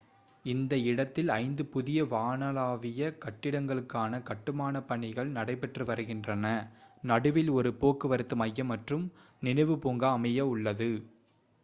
இந்த இடத்தில் ஐந்து புதிய வானளாவிய கட்டிடங்களுக்கான கட்டுமானப் பணிகள் நடைபெற்று வருகின்றன நடுவில் ஒரு போக்குவரத்து மையம் மற்றும் நினைவு பூங்கா அமைய உள்ளது